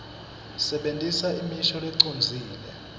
sebentisa imisho lecondzile